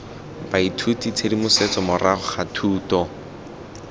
baithuti tshedimosetso morago ga thuto